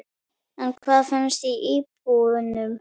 En hvað finnst íbúunum?